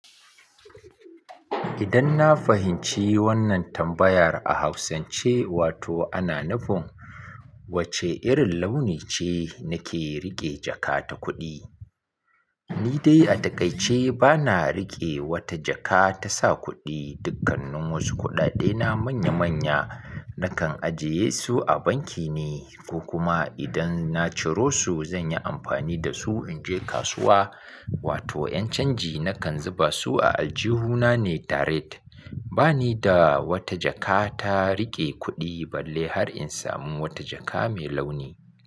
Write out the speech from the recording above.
Idan na fahimci wannan tambayar a Hausance, wato ana nufin wace irin launi ce nake riƙe jaka ta kuɗi. Ni dai a takaice bana riƙe wata jaka ta sa kuɗi. Dukkannin wasu kuɗaɗe na manya-manya nakan ajiye su a banki ne ko kuma idan na ciro su zan yi amfani da su in je kasuwa wato 'yan canji nakan zuba su a aljihuna ne tare. Ba ni da wata jaka ta riƙe kuɗi balle har in samu wata jaka mai launi.